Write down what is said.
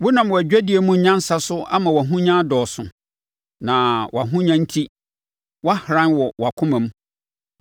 Wonam wʼadwadie mu nyansa so ama wʼahonya adɔɔso, na wʼahonya enti wahoran wɔ wʼakoma mu.